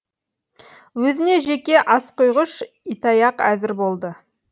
өзіне жеке асқұйғыш ит аяқ әзір болды